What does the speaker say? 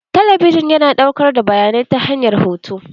Talabijin yana ɗaukar bayanai ta hanyar hoto.